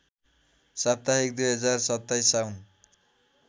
साप्ताहिक २०२७ साउन